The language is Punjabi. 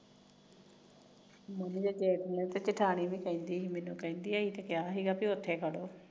ਮੇਰੀ ਜੇਠ ਤੇ ਜੇਠਾਣੀ ਵੀ ਕਹਿੰਦੀ ਕਿ ਕਿਹਾ ਸੀ ਉਥੇ ਖੜੋ